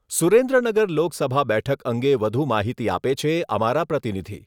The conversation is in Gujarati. સુરેન્દ્રનગર લોકસભા બેઠક અંગે વધુ માહિતી આપે છે અમારા પ્રતિનિધિ.